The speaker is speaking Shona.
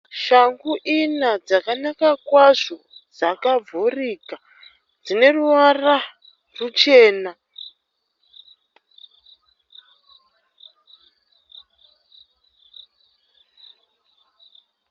Shangu ina dzakanaka kwazvo dzakavhurika, dzine ruvara rwuchena.